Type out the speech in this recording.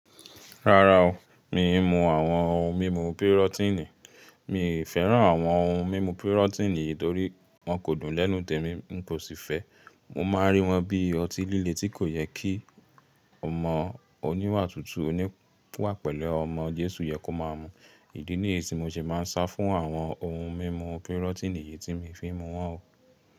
Rárá o, mi mú àwọn ohun mímu pirotini. Mi fẹ́ràn àwọn ohun mímu pirotini yìí torí wọn kò dùn lẹ́nu tèmi, n kò sì fẹ́ ẹ. Mo máa rí wọn bí ọtí líle tí kò yẹ kí ọmọ oníwà tútù, oníwà pẹ̀lú ọmọ Jésù yẹ kó máa mú. Ìdí nìyí tí mo ṣe máa ń sá fún àwọn ohun mímu pirotini yìí tí mi fi ń mu wọ́n o.